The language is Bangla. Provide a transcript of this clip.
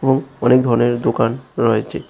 এবং অনেক ধরনের দোকান রয়েছে।